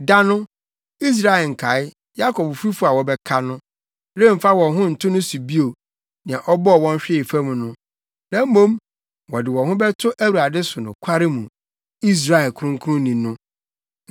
Da no, Israel nkae, Yakob fifo a wɔbɛka no, remfa wɔn ho nto no so bio nea ɔbɔɔ wɔn hwee fam no; na mmom wɔde wɔn ho bɛto Awurade so nokware mu, Israel Kronkronni no.